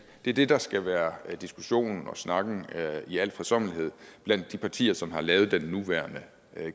det er det der skal være diskussionen og snakken i al fredsommelighed blandt de partier som har lavet den nuværende